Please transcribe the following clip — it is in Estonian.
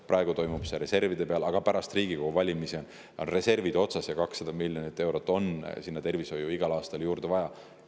Praegu toimub see reservide arvel, aga pärast Riigikogu valimisi on reservid otsas ja 200 miljonit eurot on tervishoidu igal aastal ikka juurde vaja.